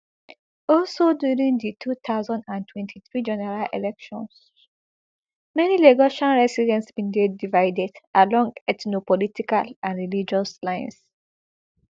also during di two thousand and twenty-three general elections many lagos residents bin dey divided along ethnopolitical and religious lines